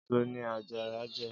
Ésó ni àjàrá jè